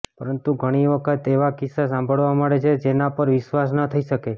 પરંતુ ઘણી વખત એવા કિસ્સા સાંભળવા મળે છે જેના પર વિશ્વાસ ન થઈ શકે